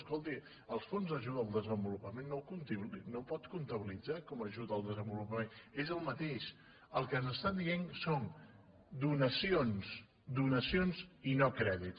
escolti els fons d’ajuda al de senvo lupament no pot comptabilitzar los com a ajuda al desenvolupament és el mateix el que ens estan dient són donacions donacions i no crèdit